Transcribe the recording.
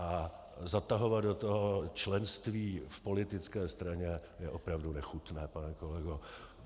A zatahovat do toho členství v politické straně je opravdu nechutné, pane kolego.